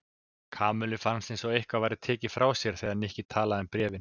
Kamillu fannst eins og eitthvað væri tekið frá sér þegar Nikki talaði um bréfin.